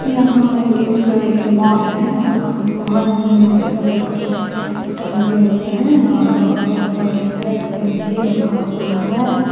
यहां एक ये मॉल है और मॉल में बहोत सारे कपरे टंगे हुए हैं और बहोत सारे रैक पे भी रखा हुआ है।